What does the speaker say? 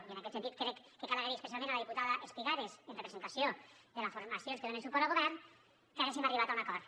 i en aquest sentit crec que cal agrair especialment a la diputada espigares en representació de les formacions que donen suport al govern que haguéssim arribat a un acord